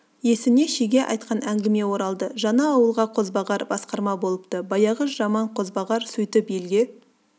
есіне шеге айтқан әңгіме оралды жаңа ауылға қозбағар басқарма болыпты баяғы жаман қозбағар сөйтіп елге